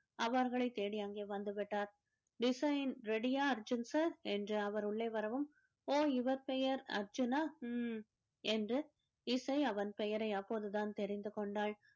அவர்களைத் தேடி அங்கே வந்துவிட்டார் design ready யா அர்ஜுன் sir என்று அவர் உள்ளே வரவும் ஓ இவர் பெயர் அர்ஜுனா அஹ் என்று இசை அவன் பெயரை அப்போதுதான் தெரிந்து கொண்டாள்